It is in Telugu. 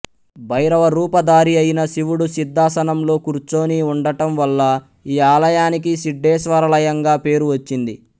భైరవ రూప ధారి అయిన శివుడు సిద్దాసనంలో కూర్చొని ఉండటం వల్ల ఈ ఆలయానికి సిడ్డేశ్వారలయంగా పేరు వచ్చింది